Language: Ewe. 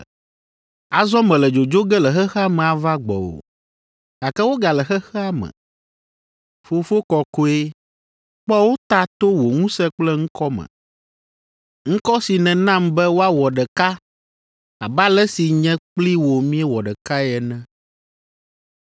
Azɔ mele dzodzo ge le xexea me ava gbɔwò, gake wogale xexea me. Fofo kɔkɔe, kpɔ wo ta to wò ŋusẽ kple ŋkɔ me, ŋkɔ si nènam be woawɔ ɖeka abe ale si nye kpli wò miewɔ ɖekae ene.